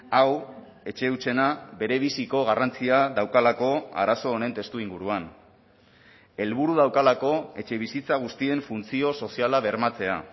hau etxe hutsena berebiziko garrantzia daukalako arazo honen testuinguruan helburu daukalako etxebizitza guztien funtzio soziala bermatzea